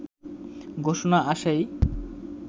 ঘোষণা আসেই